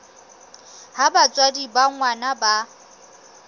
ha batswadi ba ngwana ba